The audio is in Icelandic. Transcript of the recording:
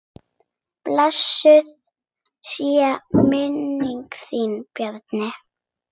Blessuð sé minning þín Bjarni.